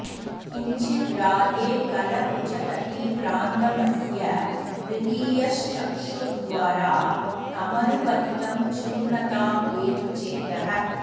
किञ्चिद् राधे कल कुचतटीप्रान्तमस्य म्रदीयश् चक्षुर्द्वारा तमनुपतितं चूर्णतामेतु चेतः